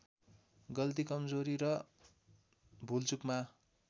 गल्ती कम्जोरी र भुलचुकमा